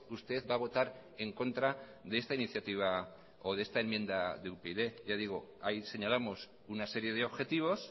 usted va a votar en contra de esta iniciativa o de esta enmienda de upyd ya digo ahí señalamos una serie de objetivos